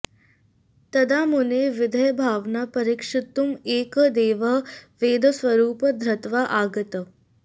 तदा मुनेः विदेहभावनां परीक्षितुम् एकः देवः वैद्यस्वरूपं धृत्वा आगतः